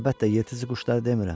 Əlbəttə, yırtıcı quşları demirəm.